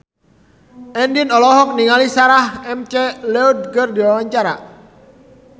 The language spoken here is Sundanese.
Andien olohok ningali Sarah McLeod keur diwawancara